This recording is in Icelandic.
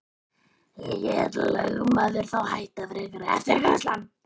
Lét lögmaður þá hætta frekari eftirgrennslan.